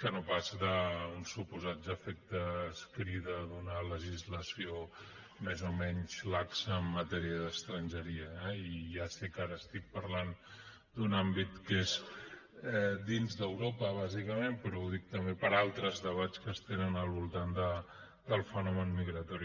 que no pas d’uns suposats efectes crida d’una legislació més o menys laxa en matèria d’estrangeria eh i ja sé que ara estic parlant d’un àmbit que és dins d’europa bàsicament però ho dic també per altres debats que es tenen al voltant del fenomen migratori